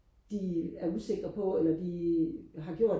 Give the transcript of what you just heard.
de er usikre på eller de har gjort